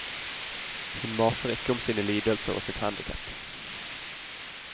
Hun maser ikke om sine lidelser og sitt handicap.